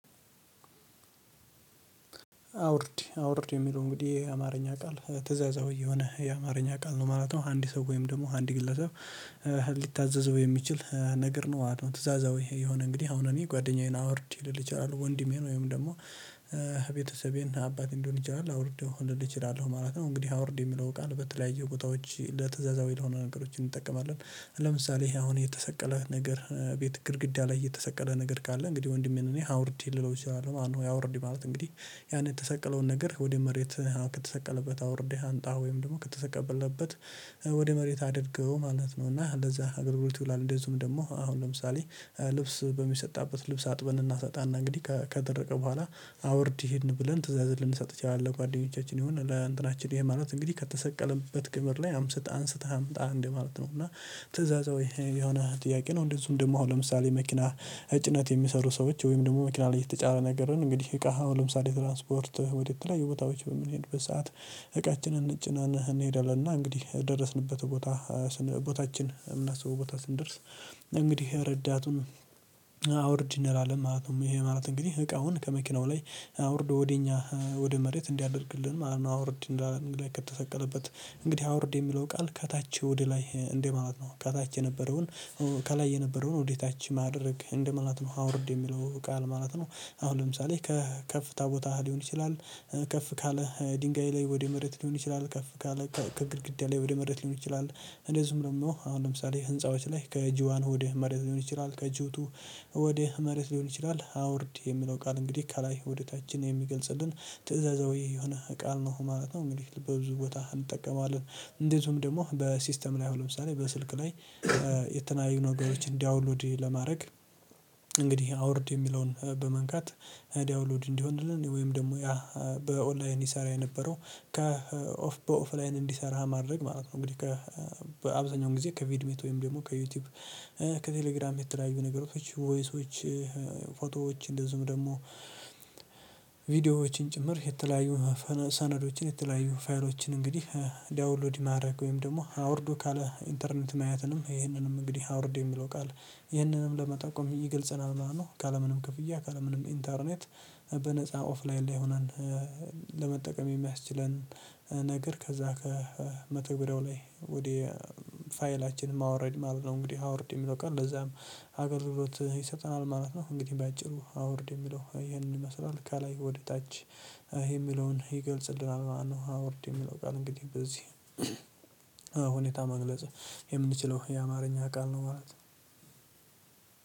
አውርድ አውርድ የሚለው እንግዲህ አማርኛ ቃል ትእዛዛዊ የሆነ የአማርኛ ቃል ነው ማለት ነው። አንድ ሰው ወይም ደግሞ አንድ ግለሰብ ሊታዘዘው የሚችል ነገር ነው። ትእዛዛዊ የሆነ እንግዲህ አሁን እኔ ጓደኛዬን አውርድ ልል ይችላሉ ወንድሜን ወይም ደግሞ አባቴም ልሆነ ይችላል አውርደው ልል እችላለሁ ማለት ነው። እንግዲህ አውርድ የሚለው ቃል በተለያዩ ቦታዎች ለተዛዛዊ ለሆነ ነገሮች እንጠቀማለን። ለምሳሌ አሁን የተሰቀለ ነገር ቤት ግድግዳ ላይ የተሰቀለ ነገር ካለ እንግዲህ ወንድሜን እኔ አውርድ ልለው እችላለሁ ማለት ነው። አውርድ ማለት እንግዲህ ያንን የተሰቅለውን ነገር ወደ መሬት ከተሰቀለበት አውርዴ አንጣ ወይም ደግሞ ከተሰቀለበት ወደ መሬት አድርገው ማለት ነው። እና ለዛ አገልግሎት ይውላል። እንደዚሁም ደግሞ አሁን ለምሳሌ ልብስ በሚሰጣበት ልብስ አጥበን እናሰጣን እንግዲህ ከተደረቀ በኋላ አውርድ እህን ብለን ትዛዝ ልንሰጥ እንችላለን። ጓደኞቻችን ይሁን ለእንትናችን ይሄ ማለት እንግዲህ ከተሰቀለበት ቅብር ላይ አንስተ አምጣ ማለት ነው። እና ትእዛዛዊ የሆነ ጥያቄ ነው። እንደዚሁም ደግሞ አሁን ለምሳሌ መኪና ጭነት የሚሰሩ ሰዎች ወይም ደግሞ መኪና ላይ የተጫረ ነገርን እንግዲህ እቃህን ለምሳሌ ትራንስፖርት ወዴት ላይ የቦታዎች በምንሄድ በሰአት እቃችንን ጭኔን እንሄዳለን እና እንግዲህ የደረስንበት ቦታ ቦታችን የምናስበው ቦታ ስንደርስ እንግዲህ ረዳቱን እንላለን ማለት ነው። ይሄ ማለት እንግዲህ እቃውን ከመኪናው ላይ አውርዶ ወደ እኛ ወደ መሬት እንዲያደርግልን ማለት ነው። አውርድ እንዳለ ላይ ከተሰቀለበት እንግዲህ አውርድ የሚለው ቃል ከታች ወደ ላይ እንዴ ማለት ነው። ከታች ከላይ የነበረውን ወዴታች ማድረግ እንደማለት ነው። አውርድ የሚለው ቃል ማለት ነው። አሁን ለምሳሌ ከከፍታ ቦታህ ሊሆን ይችላል ከፍ ካለ ድንጋይ ላይ ወደ መሬት ሊሆን ይችላል ከፍ ካለ ከግድግዳ ላይ ወደ መሬት ሊሆን ይችላል። እንደዚሁም ደግሞ አሁን ለምሳሌ ህንፃዎች ላይ ከጅዋን ሆድ መሬት ሊሆን ይችላል ከጅቱ ወደ መሬት ሊሆን ይችላል አውርድ የሚለው ቃል እንግዲህ ከላይ ወዴታችን የሚገልጽልን ትእዛዛዊ የሆነ ቃል ነው ማለት ነው። እንግዲህ በብዙ ቦታ እንጠቀማለን። እንደዚሁም ደግሞ በሲስተም ላይ ሆነ ለምሳሌ በስልክ ላይ የተለያዩ ነገሮችን ዳውንሎድ ለማድረግ እንግዲህ አውርድ የሚለውን በመንካት ዳውሎድ እንዲሆንልን ወይም ደግሞ ያ በኦንላይን ይሰራ የነበረው ከኦፍ በኦፍላይን እንዲሰራ ማድረግ ማለት ነው። እንግዲህ ከ በአብዛኛው ጊዜ ከቪድሜት ወይም ደግሞ ከዩቲዩብ ከቴሌግራም የተለያዩ ነገሮች ቮይሶች ፎቶዎች እንደዚሁም ደግሞ ቪዲዮዎችን ጭምር የተለያዩ ሰነዶችን የተለያዩ ፋይሎችን እንግዲህ ዳውንሎድ ማድረግ ወይም ደግሞ አውርዶ ካለ ኢንተርኔት ማየትንም ይህንንም እንግዲህ አውርዴ የሚለው ቃል ይህንንም ለመጠቆም ይገልጽናል ማለት ነው። ካለምንም ክፍያ ካለምንም ኢንተርኔት በነፃ ኦፍላይን ላይሆን ለመጠቀም የሚያስችለን ነገር ከዛ ከመተግበሪያው ላይ ወደ ፋይላችን ማውረድ ማለት ነው። እንግዲህ አውርድ የምትወጣው ቀን ለዛም አገልግሎት ይሰጠናል ማለት ነው። እንግዲህ በአጭሩ አውርድ የሚለው ይሄንን ይመስላል ከላይ ወደ ታች የሚለውን ይገልጽልናል ማለት ነው። አውርድ የሚለው ቃል እንግዲህ በዚህ ሁኔታ መግለጽ የምንችለው የአማርኛ ቃል ነው ማለት ነው